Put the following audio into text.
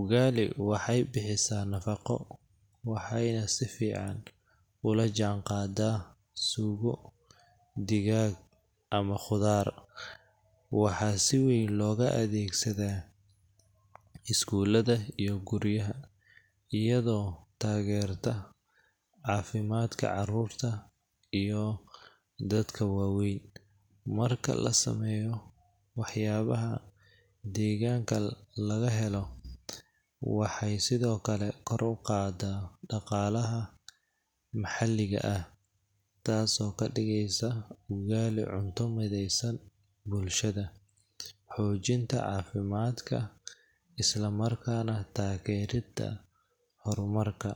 Ugali waxay bixisaa nafaqo, waxayna si fiican ula jaanqaadaa suugo, digaag, ama khudaar. Waxaa si weyn loogu adeegsadaa iskuulada iyo guryaha, iyadoo taageerta caafimaadka carruurta iyo dadka waaweyn. Marka la sameeyo waxyaabaha deegaanka laga helo, waxay sidoo kale kor u qaaddaa dhaqaalaha maxalliga ah, taasoo ka dhigaysa ugali cunto mideysan bulshada, xoojinta caafimaadka, isla markaana taageridda horumarka.